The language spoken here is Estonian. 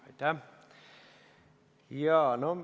Aitäh!